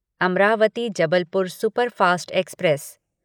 Amravati Jabalpur superfast express